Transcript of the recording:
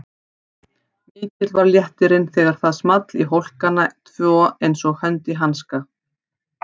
Mikill var léttirinn þegar það small í hólkana tvo einsog hönd í hanska.